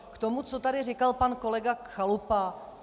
K tomu, co tady říkal pan kolega Chalupa.